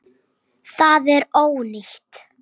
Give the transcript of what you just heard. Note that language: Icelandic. Það er ónýtt.